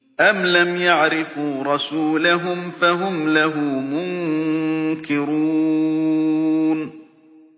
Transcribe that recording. أَمْ لَمْ يَعْرِفُوا رَسُولَهُمْ فَهُمْ لَهُ مُنكِرُونَ